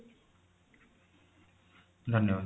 ଧନ୍ୟବାଦ